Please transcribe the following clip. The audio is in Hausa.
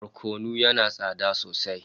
Barkono yana tsada sosai